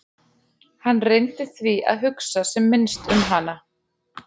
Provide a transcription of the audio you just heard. Hann reyndi því að hugsa sem minnst um hana.